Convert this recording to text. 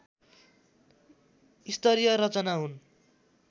स्तरीय रचना हुन्